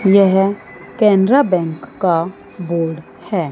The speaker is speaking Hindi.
यह केनरा बैंक का बोर्ड है।